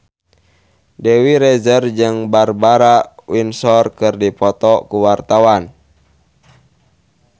Dewi Rezer jeung Barbara Windsor keur dipoto ku wartawan